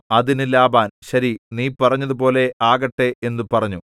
അതിന് ലാബാൻ ശരി നീ പറഞ്ഞതുപോലെ ആകട്ടെ എന്നു പറഞ്ഞു